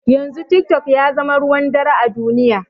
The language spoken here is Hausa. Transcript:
Yanzu tik tok yazama ruwan dare a duniya